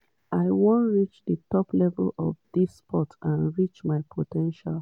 i wan reach di top level of dis sport and reach my po ten tial."